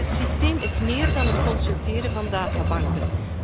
Maar het systeem is meer dan het consulteren van databanken.